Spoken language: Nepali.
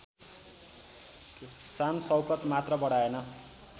शानशौकत मात्र बढाएन